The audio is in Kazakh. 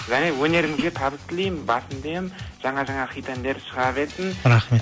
және өнеріңізге табыс тілеймін басымды иемін жаңа жаңа хит әндер шыға берсін рахмет